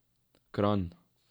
Kranj.